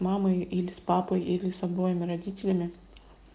мамой или с папой или с обоими родителями